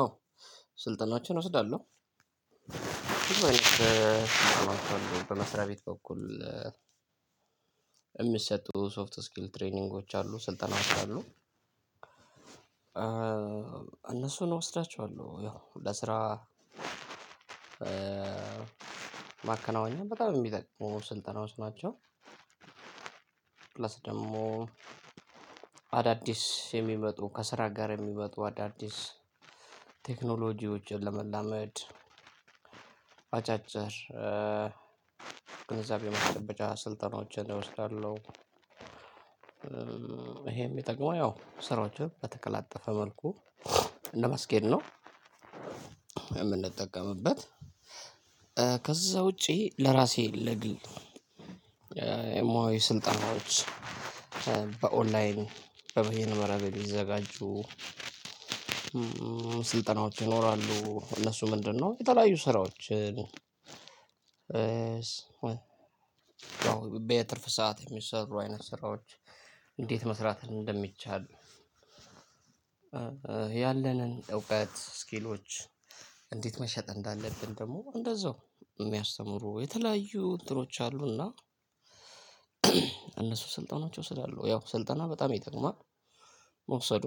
አዎ ስልጠናዎችን እወስዳለሁ። በመስሪያ ቤት በኩል የሚሰጡ ሶፍት ስኪል ትሬኒንጎች አሉ ስልጠናዎች አሉ። እነሱን እወስዳቸዋለሁ ያው ለስራ ማከናወኛ በጣም የሚጠቅሙ ስልጠናዎች ናቸው። ፕላስ ደግሞ አዳዲስ የሚመጡ ከስራ ጋር የሚመጡ አዳዲስ ቴክኖሎጂዎችን ለመላመድ አጫጭር ገንዘብ የመጨበጃ ስልጠናዎችን እወስዳለሁ። ይሄም የሚጠቅመው ያው ስራዎችን በተቀላጠፈ መልኩ ለማስኬድ ነው የምንጠቀምበት። ከዛ ውጪ ለራሴ ለግል የሙያዊ ስልጠናዎች በኦንላይን በበይነ መረብ የተዘጋጁ ስልጠናዎች ይኖራሉ። እነሱ ምንድነው? የተለያዩ ስራዎች። በየትርፍ ሰዓት የሚሰሩ አይነት ስራዎች። እንዴት መስራት እንደሚቻል። ያለንን እውቀት ስኪሎች እንዴት መሸጥ እንዳለብን ደግሞ እንደዛው የሚያስተምሩ የተለያዩ እንትኖች አሉ። እና እነሱ ስልጠናዎች እወስዳለሁ ያው ስልጠና በጣም ይጠቅማል። መውሰዱ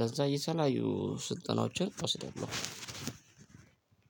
ለዛ የተለያዩ ስልጠናዎችን እወስዳለሁ።